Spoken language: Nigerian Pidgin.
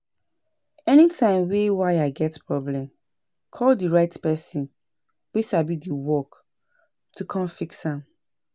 Anytime wey wire get problem, call di right person wey sabi di work to come fix am